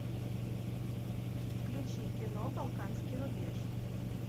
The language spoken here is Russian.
включи кино балканский рубеж